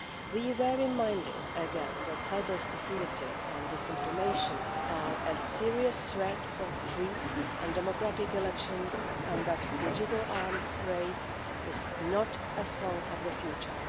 We were reminded again that cybersecurity and disinformation are a serious threat for free and democratic elections and that the digital arms race is not a thing of the future.